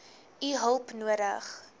u hulp nodig